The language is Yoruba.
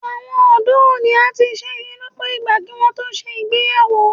Àwọn ọ̀dọ́ òní a ti ṣẹ́yún lọ́pọ̀ ìgbà kí wọn tó ṣe ìgbéyàwó